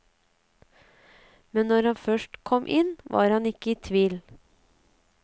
Men når han først kom inn, var han ikke i tvil.